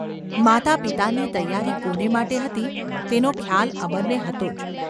‘માતાપિતાની તૈયારી કોને માટે હતી તેનો ખ્યાલ અમરને હતો જ.